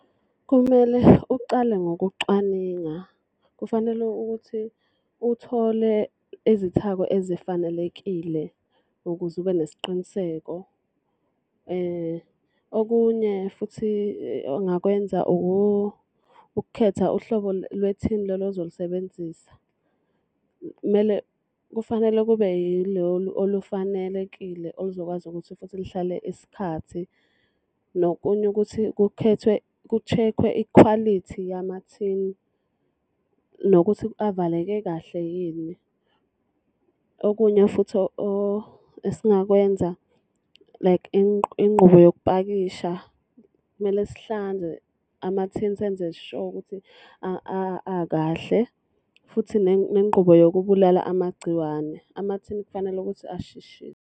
Kumele ucale ngokucwaninga. Kufanele ukuthi uthole izithako ezifanelekile ukuze ube nesiqiniseko. Okunye futhi engingakwenza ukukhetha uhlobo lwethini lolo ozolisebenzisa. Kumele kufanele kube yilolu olufanelekile oluzokwazi ukuthi futhi luhlale isikhathi. Nokunye ukuthi kukhethwe kushekhwe ikhwalithi yamathini, nokuthi avaleke kahle yini. Okunye futhi esingakwenza like ingqubo yokupakisha, kumele sihlanze amathini senze sure ukuthi akahle futhi nengqubo yokubulala amagciwane. Amathini kufanele ukuthi .